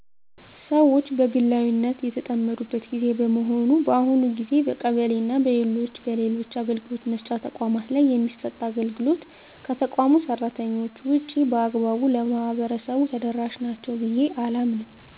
ሰወች በግላዊነት የተጠመዱበት ግዜ በመሆኑ በአሁኑ ግዜ በቀበሌና በሌሎች በሌሎች አገልግሎት መስጫ ተቋማት ላይ የሚሰጥ አገልግሎት ከተቋሙ ሰራተኞች ውጭ በአግባቡ ለማህበረሰቡ ተደረሻ ናቸው ብየ አላምንም።